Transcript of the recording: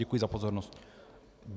Děkuji za pozornost.